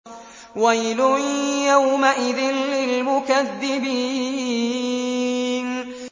وَيْلٌ يَوْمَئِذٍ لِّلْمُكَذِّبِينَ